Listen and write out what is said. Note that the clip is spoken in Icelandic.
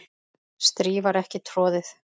strý var ekki troðið